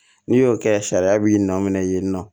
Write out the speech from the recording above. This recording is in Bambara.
N'i y'o kɛ sariya b'i nɔ minɛ yen nɔ